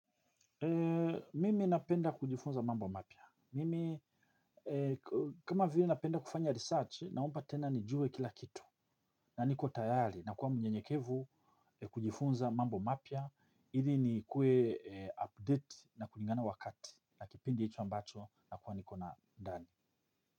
Mimi napenda kujifunza mambo mapya. Mimi kama vile napenda kufanya research naomba tena nijue kila kitu. Na niko tayari na kuwa mnyenyekevu ni kujifunza mambo mapya. Ili nikuwe update na kulingana wakati na kipindi hicho ambacho nakuwa niko na ndani.